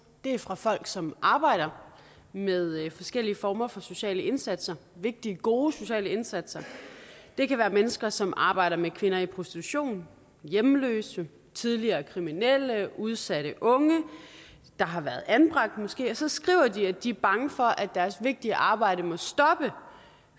det er fra folk som arbejder med forskellige former for sociale indsatser vigtige gode sociale indsatser det kan være mennesker som arbejder med kvinder i prostitution hjemløse tidligere kriminelle udsatte unge der har været anbragt måske og så skriver det at de er bange for at deres vigtige arbejde må stoppe